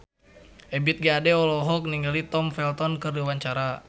Ebith G. Ade olohok ningali Tom Felton keur diwawancara